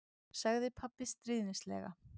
sagði pabbi stríðnislega.